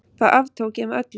Það aftók ég með öllu.